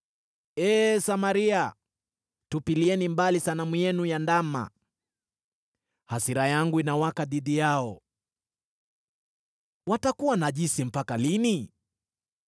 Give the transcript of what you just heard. Ee Samaria, tupilieni mbali sanamu yenu ya ndama! Hasira yangu inawaka dhidi yao. Watakuwa najisi mpaka lini?